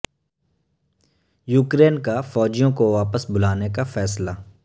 Ukraine کا فوجیوں کو واپس بلانے کا فیصلہ